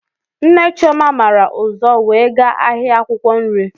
Nne Chioma màrà ụzọ wee gaa ahịa akwụkwọ nri